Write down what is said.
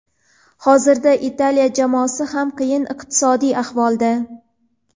hozirda Italiya jamoasi ham qiyin iqtisodiy ahvolda.